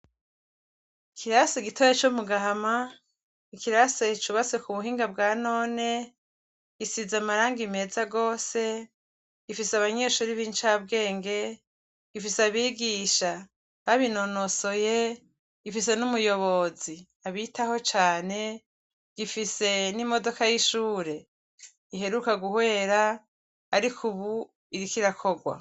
Ikirasi gitoya comu gahama ikirasi cubatse kubuhinga bwanone isize amarangi meza gose gifise abanyeshure bincabwenge gifise abigisha babinonosoye gifise numuyobozi abitayeho cane gifise nimodoka yishure iheruka guhwera ariko ubu iriko irakorwa